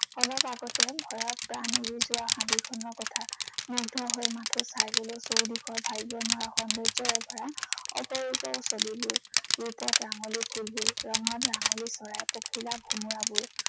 অলপ আগতে ভয়ত প্ৰাণ উৰি যোৱা হাবিখনৰ কথা। মুগ্ধ হৈ মাথো চাই গলো চৌদিশৰ ভাবিব নোৱাৰা সৌন্দৰ্যৰে ভৰা অপৰূপ ছবিবোৰ। ৰূপত ৰাঙলী ফুলবোৰ। ৰঙত ৰাঙলী চৰাই, পখিলা ভোমোৰাবোৰ।